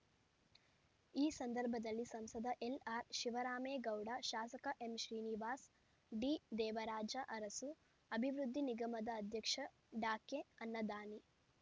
ಈ ಸಂದರ್ಭದಲ್ಲಿ ಸಂಸದ ಎಲ್ಆರ್ಶಿವರಾಮೇಗೌಡ ಶಾಸಕ ಎಂಶ್ರೀನಿವಾಸ್ ಡಿದೇವರಾಜ ಅರಸು ಅಭಿವೃದ್ಧಿ ನಿಗಮದ ಅಧ್ಯಕ್ಷ ಡಾಕೆಅನ್ನದಾನಿ